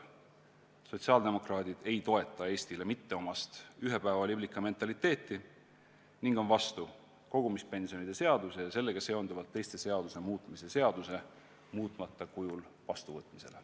Sotsiaaldemokraadid ei toeta Eestile mitteomast ühepäevaliblika mentaliteeti ning on vastu kogumispensionide seaduse ja sellega seonduvalt teiste seaduste muutmise seaduse muutmata kujul vastuvõtmisele.